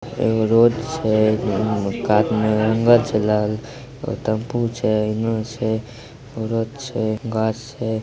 एगो रोड छै कात में जंगल छै टेंपू छै---